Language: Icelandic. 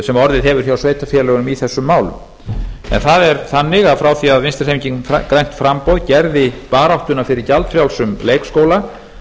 sem orðið hefur hjá sveitarfélögunum í þessum málum það er þannig að frá því að vinstri hreyfingin grænt framboð gerði baráttuna fyrir gjaldfrjálsum leikskóla